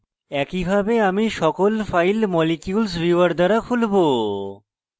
একইভাবে আমি সকল files molecules viewer দ্বারা খুলবো